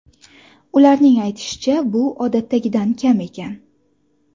Ularning aytishicha, bu odatdagidan kam ekan.